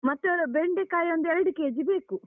ಮತ್ತೆ ಬೆಂಡೆಕಾಯಿ ಒಂದು ಎರಡು kg ಬೇಕು.